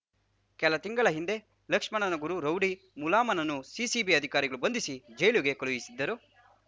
ಕೆಲ ತಿಂಗಳ ಹಿಂದೆ ಲಕ್ಷ್ಮಣನ ಗುರು ರೌಡಿ ಮುಲಾಮನನ್ನು ಸಿಸಿಬಿ ಅಧಿಕಾರಿಗಳು ಬಂಧಿಸಿ ಜೈಲುಗೆ ಕಳುಹಿಸಿದ್ದರು